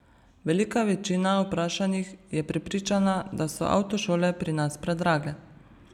Velika večina vprašanih je prepričana, da so avtošole pri nas predrage.